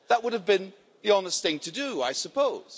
That would have been the honest thing to do, I suppose.